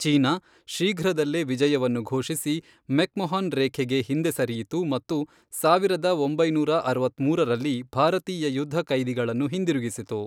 China, ಶೀಘ್ರದಲ್ಲೇ ವಿಜಯವನ್ನು ಘೋಷಿಸಿ, ಮೆಕ್ಮಹೊನ್ ರೇಖೆಗೆ ಹಿಂದೆ ಸರಿಯಿತು ಮತ್ತು ಸಾವಿರದ ಒಂಬೈನೂರ ಅರವತ್ಮೂರರಲ್ಲಿ ಭಾರತೀಯ ಯುದ್ಧಖೈದಿಗಳನ್ನು ಹಿಂದಿರುಗಿಸಿತು.